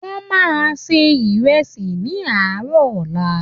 Wọ́n máa se ìrẹsì ní àárọ̀ ọ̀la.